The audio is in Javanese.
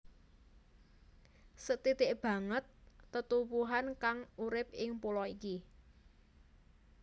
Sethithik banget tetuwuhan kang urip ing pulo iki